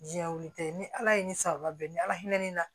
Diɲɛ wuli tɛ ni ala ye ni sababa bɛn ni ala hinɛ ne na